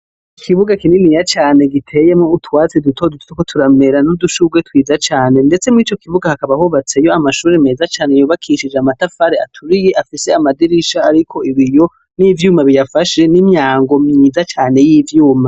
Ikibuga kininiya cane giteyemwo utwatsi dutoduto nudushurwe twiza cane ndetse mwico kibuga hakaba hubatseyo amashure meza cane yubakishijw'amatafari aturiye afise amadirisha ariko ibiyo n'ivyuma biyafashe n'imyango myiza cane y'ivyuma